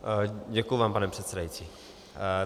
Děkuji vám, pane předsedající.